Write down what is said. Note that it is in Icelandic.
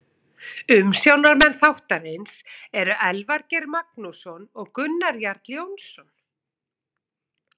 Umsjónarmenn þáttarins eru Elvar Geir Magnússon og Gunnar Jarl Jónsson.